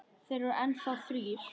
Þeir eru enn þá þrír.